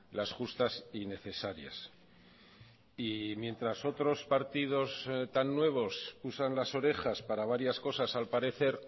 las justas y necesarias y mientras otros partidos tan nuevos usan las orejas para varias cosas al parecer